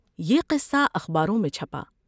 یہ قصہ اخباروں میں چھپا ۔